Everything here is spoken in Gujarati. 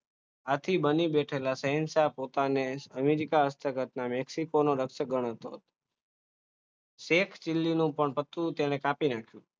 આથી બની બેઠેલા પોતાના શહેનશાહ પોતાને અમેરિકા હસ્ત ઘટનાને મેક્સિકો દ્રશ્ય ગણતો. શેખ ચીનની પણ પત્તુ તેને કાપી નાખ્યું